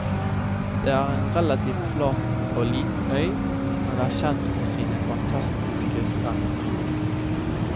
Det er en relativt flat og liten øy, men er kjent for sine fantastiske strender.